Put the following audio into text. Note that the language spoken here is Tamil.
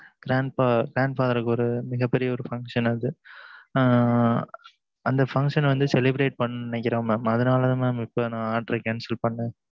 mam இப்ப ஒரு மிக பெரிய function அது அந்த function வந்து celebrate பண்ணனும் நினைக்கிறன் mam அதுனால தான் mam இப்பம் order cancel பண்ணுனேன்